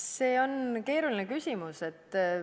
See on keeruline küsimus.